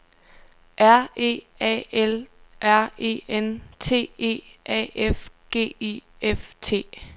R E A L R E N T E A F G I F T